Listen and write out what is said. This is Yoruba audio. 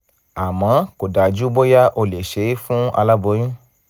àmọ́ kò dájú bóyá o lè ṣe é fún aláboyún